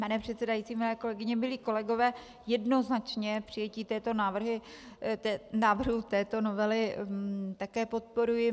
Pane předsedající, milé kolegyně, milí kolegové, jednoznačně přijetí návrhu této novely také podporuji.